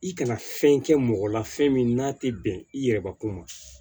I kana fɛn kɛ mɔgɔ la fɛn min n'a tɛ bɛn i yɛrɛbakun ma